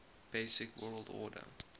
basic word order